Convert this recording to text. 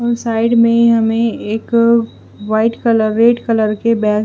और साइड में हमें एक व्हाइट कलर रेड कलर के बैग --